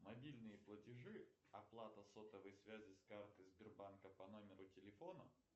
мобильные платежи оплата сотовой связи с карты сбербанка по номеру телефона